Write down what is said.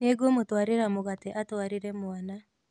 Nĩngũmũtwarĩra mũgate atwarĩre mwana